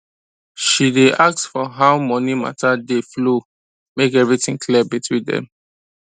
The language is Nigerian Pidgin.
she day ask for how money matter dey flow make everything clear between dem